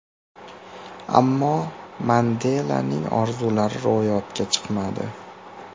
Ammo Mandelaning orzulari ro‘yobga chiqmadi.